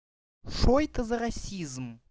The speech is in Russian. что это за расизм